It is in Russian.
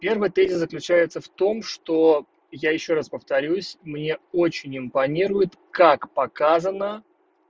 первый тезис заключается в том что я ещё раз повторюсь мне очень импонирует как показано